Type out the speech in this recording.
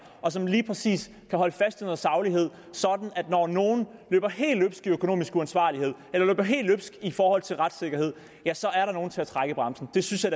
og som lige præcis kan holde fast i noget saglighed sådan at når nogen løber helt løbsk i økonomisk uansvarlighed eller løber helt løbsk i forhold til retssikkerhed ja så er der nogen til at trække i bremsen det synes jeg